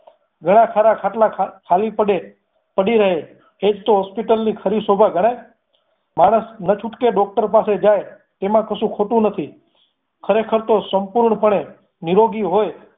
ઘણા સારા ખાટલા ખાલી પડે પડી રહે એજ તો hospital ની ખરી શોભા ગણાય માણસ ન છૂટકે doctor પાસે જાય એમાં કશું ખોટુ નથી ખરેખર તો સંપૂર્ણ પણે નિરોગી હોય